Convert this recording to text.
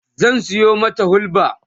zan Sayo mata hulba